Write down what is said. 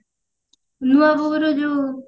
ନୂଆ ବୋହୁର ଯଉ